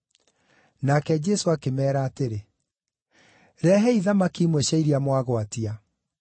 Nake Jesũ akĩmeera atĩrĩ, “Rehei thamaki imwe cia iria mwagwatia.”